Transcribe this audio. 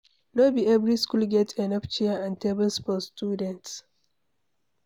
No be every school get enough chair and table for students